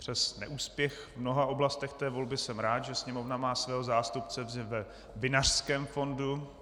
Přes neúspěch v mnoha oblastech té volby jsem rád, že Sněmovna má svého zástupce ve Vinařském fondu.